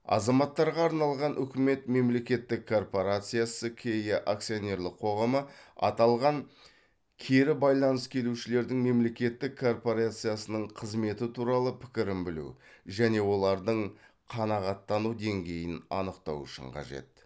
азаматтарға арналған үкімет мемлекеттік корпорациясы ке акционерлік қоғамы аталған кері байланыс келушілердің мемлекеттік корпорацияның қызметі туралы пікірін білу және олардың қанағаттану деңгейін анықтау үшін қажет